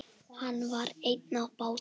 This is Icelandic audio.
Hann var einn á báti.